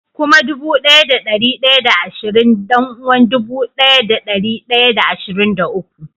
Kuma dubu daya da dari daya da ashirin dan-uwar dubu daya da dari daya da ashirin da uku